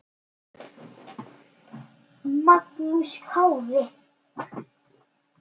Magnús Kári.